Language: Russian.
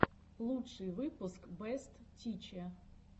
лучший выпуск бэст тиче